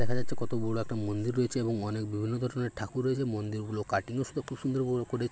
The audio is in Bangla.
দেখা যাচ্ছে কত বড় একটা মন্দির রয়েছে এবং অনেক বিভিন্ন ধরনের ঠাকুর রয়েছে মন্দিরগুলো কাটিং ও সুদক্ষ সুন্দর ও করে।